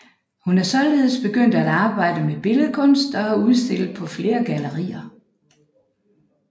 Hun er således begyndt at arbejde med billedkunst og har udstillet på flere gallerier